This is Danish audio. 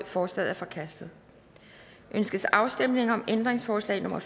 forslaget er forkastet ønskes afstemning om ændringsforslag nummer